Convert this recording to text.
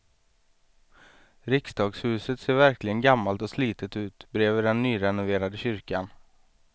Riksdagshuset ser verkligen gammalt och slitet ut bredvid den nyrenoverade kyrkan.